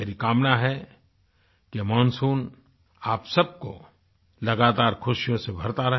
मेरी कामना है कि यह मानसून आप सबको लगातार खुशियों से भरता रहे